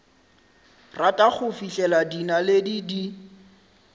rata go fihlela dinaledi di